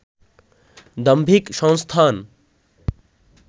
দাম্ভিক সংস্থান